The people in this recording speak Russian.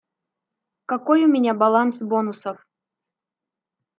какой у меня баланс бонусов